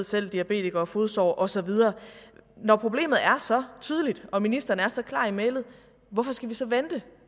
selv diabetikere og fodsår og så videre når problemet er så tydeligt og ministeren er så klar i mælet hvorfor skal vi så vente